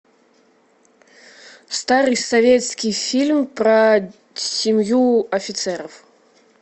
старый советский фильм про семью офицеров